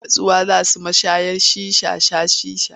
Ba su da nutsuwa wai za su mashayar shisha sha shisha.